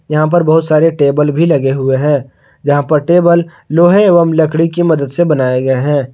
यहां पर बहुत सारे टेबल भी लगे हुए है जहाँ पर टेबल लोहे एवं लकड़ी की मदद से बनाये गए है।